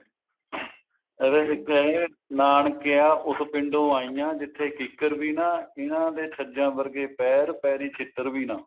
ਇਹਦਾ ਇੱਕ ਇਹ ਹੈ ਨਾਨਕਿਆ ਉਸ ਪਿੰਡੋਂ ਆਈ ਹਾਂ ਜਿੱਥੇ ਕਿੱਕਰ ਵੀ ਨਾ ਇਹਨਾ ਦੇ ਛੱਜਾ ਵਰਗੇ ਪੈਰ ਪੇਰੀ ਛਿੱਤਰ ਵੀ ਨਾ